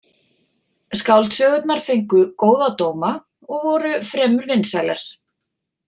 Skáldsögurnar fengu góða dóma og voru fremur vinsælar.